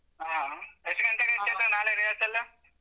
ಹಾ, ಎಷ್ಟ್ ಗಂಟೆಗೆ ಚೈತ್ರ ನಾಳೆ rehearsal .